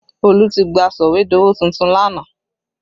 Olu tí gba sọ̀wédowó tuntun lánàá